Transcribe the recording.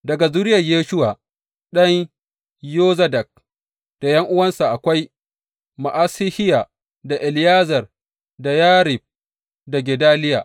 Daga zuriyar Yeshuwa ɗan Yozadak da ’yan’uwansa, akwai Ma’asehiya, da Eliyezer, da Yarib, da Gedaliya.